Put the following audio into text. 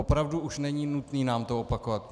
Opravdu už není nutné nám to opakovat.